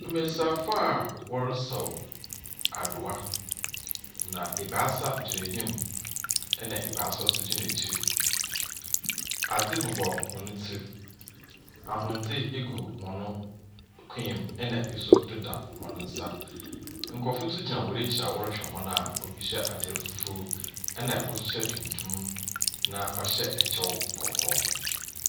Mbesiafo a wɔresaw adowa, na ebaasa gyina enyim, ɛnna ebaasa nso gyina ekyir. Adze bobɔ hɔn tsir, ahwendze gu hɔ kɔn mu, ɛnna bi nso deda hɔn nsa. Nkurɔfoɔ nso gyina hɔn ekyir a wɔrehwɛ hɔn a obi nyɛ atar fufuo, ɛnna kor nso hyɛ tuntum na ɔhyɛ kyɛw kɔkɔɔ.